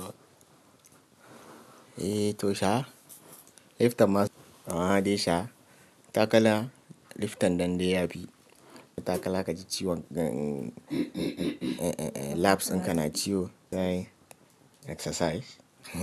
To sha, liftan ma aha dai sha. Takalawa, liftan nan dai yafi. Takalawa ka ji ciwon, labs ɗinka na ciwo ka yi exercise.